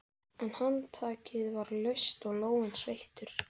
En handtakið var laust og lófinn sveittur.